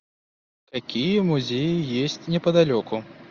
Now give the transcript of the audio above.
какие музеи есть неподалеку